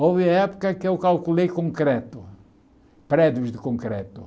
Houve época que eu calculei concreto, prédios de concreto.